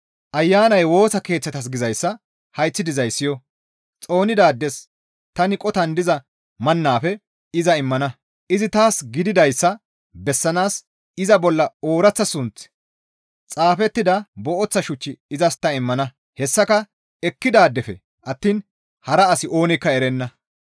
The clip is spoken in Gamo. «Ayanay Woosa Keeththatas gizayssa hayththi dizaadey siyo! Xoonidaades tani qotan diza mannafe iza immana; izi taas gididayssa bessanaas iza bolla ooraththa sunththi xaafettida booththa shuch izas ta immana; hessaka ekkidaadefe attiin hara asi oonikka erenna.